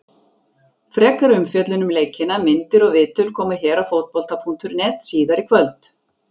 Frekari umfjöllun um leikina, myndir og viðtöl, koma hér á Fótbolta.net síðar í kvöld.